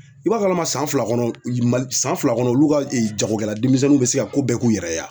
I b'a kalama san fila kɔnɔ Mal san fila kɔnɔ olu ka jagokɛla denmisɛnninw bɛ se ka ko bɛɛ k'u yɛrɛ ye